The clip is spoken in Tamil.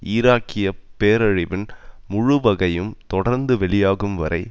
ஈராக்கிய பேரழிவின் முழு வகையும் தொடர்ந்து வெளியாகும் வரை